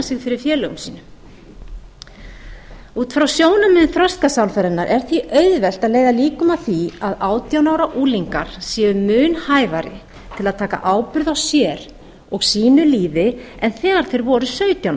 sig fyrir félögum sínum út frá sjónarmiðum þroskasálfræðinnar er því auðvelt að leiða líkum að því að átján ára unglingar séu mun hæfari til að taka ábyrgð á sér og sín lífi en þegar þeir voru sautján